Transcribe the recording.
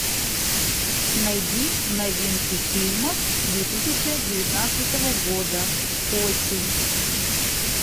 найди новинки фильмов две тысячи девятнадцатого года осень